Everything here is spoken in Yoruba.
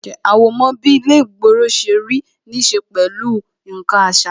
Àwọ̀mọ́ bí ilé ìgboro ṣe rí ní ṣe pẹ̀lú nkan àṣà